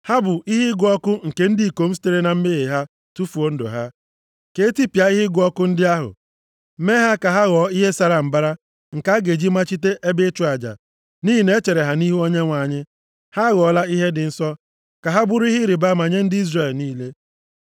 Ha bụ ihe ịgụ ọkụ nke ndị ikom sitere na mmehie ha tufuo ndụ ha. Ka etipịa ihe ịgụ ọkụ ndị ahụ. Mee ha ka ha ghọọ ihe sara mbara nke a ga-eji machite ebe ịchụ aja, nʼihi na e chere ha nʼihu Onyenwe anyị, ha aghọọla ihe dị nsọ. Ka ha bụrụ ihe ịrịbama nye ndị Izrel niile.”